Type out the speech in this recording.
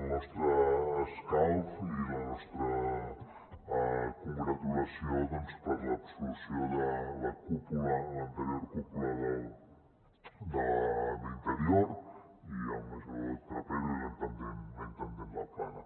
el nostre escalf i la nostra congratulació per l’absolució de la cúpula l’anterior cúpula d’interior i el major trapero i la intendent laplana